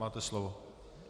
Máte slovo.